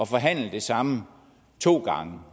forhandle det samme to gange